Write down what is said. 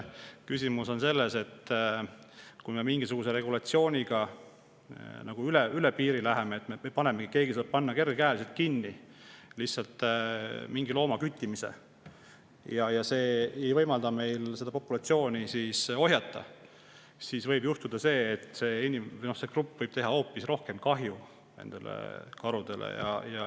Küsimus on selles, et kui me mingisuguse regulatsiooniga üle piiri läheme, keegi saab kergekäeliselt mingi looma küttimise ja see ei võimalda meil seda populatsiooni ohjata, siis võib juhtuda, et see inimgrupp võib teha karudele ja huntidele hoopis rohkem kahju.